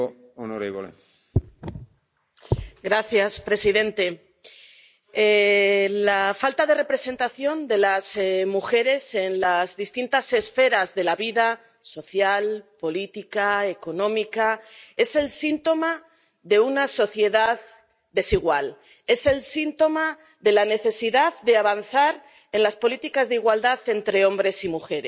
Señor presidente, la falta de representación de las mujeres en las distintas esferas de la vida social, política, económica es el síntoma de una sociedad desigual, es el síntoma de la necesidad de avanzar en las políticas de igualdad entre hombres y mujeres.